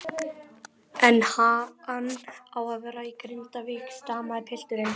En ha-hann á að vera í Grindavík, stamaði pilturinn.